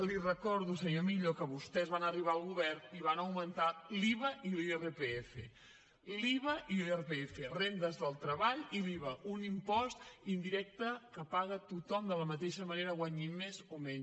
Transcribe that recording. li recordo senyor millo que vostès van arribar al govern i van augmentar l’iva i l’irpf l’iva i l’irpf rendes del treball i l’iva un impost indirecte que paga tothom de la mateixa manera guanyi més o menys